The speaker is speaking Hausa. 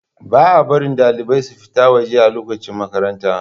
Baa barin dalibai su fita waje a lokacin makaranta